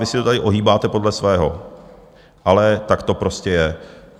Vy si to tady ohýbáte podle svého, ale tak to prostě je.